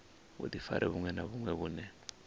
vhudifari vhuṅwe na vhuṅwe vhune